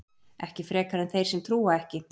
Ekki frekar en þeir sem trúa ekki.